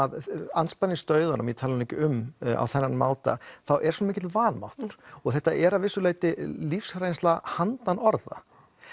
andspænis dauðanum ég tala nú ekki um á þennan máta þá er svo mikill vanmáttur þetta er að vissu leyti lífsreynsla handan orða